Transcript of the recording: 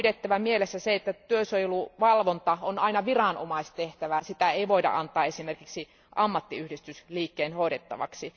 On pidettävä mielessä se, että työsuojeluvalvonta on aina viranomaistehtävä, eikä sitä voida antaa esimerkiksi ammattiyhdistysliikkeen hoidettavaksi.